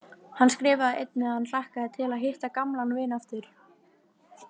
Hann skrifaði einnig að hann hlakkaði til að hitta gamlan vin aftur.